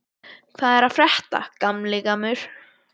Hvað er að frétta, gamli gammur?